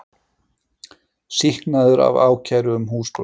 Sýknaður af ákæru um húsbrot